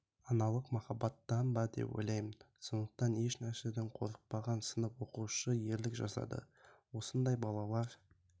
аналық махаббаттан ба деп ойлаймын сондықтан еш нәрседен қорықпаған сынып оқушысы ерлік жасады осындай балалар